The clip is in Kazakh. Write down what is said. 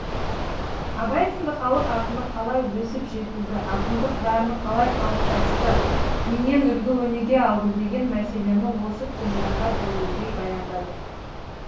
абай сынды халық ақыны қалай өсіп жетілді ақындық дарыны қалай қалыптасты кімнен үлгі өнеге алды деген мәселені осы тұжырымға тәуелдей баяндады